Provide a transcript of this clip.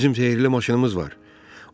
Bizim sehrli maşınımız var.